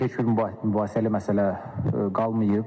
Hesab edirəm ki, müzakirəli məsələ qalmayıb.